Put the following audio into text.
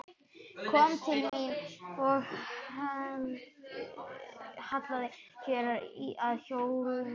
Kom til mín og hallaði sér að hjólinu.